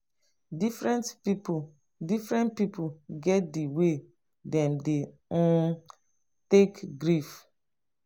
differen pipu differen pipu get di way wey dem dey um take grief.